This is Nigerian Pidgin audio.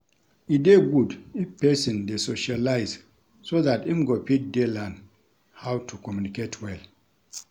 E dey good if person dey socialise so dat im go fit dey learn how to communicate well